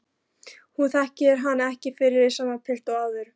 Hún þekkir hann ekki fyrir sama pilt og áður.